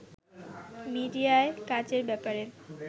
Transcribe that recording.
মিডিয়ায় কাজের ব্যাপারে